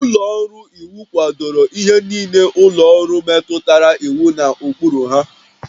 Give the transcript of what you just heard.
Ụlọ ọrụ iwu kwadoro ihe niile ụlọ ọrụ metụtara iwu na ụkpụrụ ha